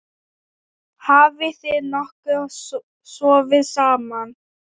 Hafið þið nokkuð sofið saman?